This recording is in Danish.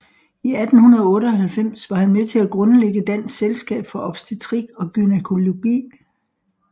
I 1898 var han med til at grundlægge Dansk Selskab for Obstetrik og Gynækologi